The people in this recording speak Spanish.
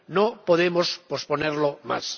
No podemos posponerla más.